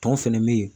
Tɔn fɛnɛ be yen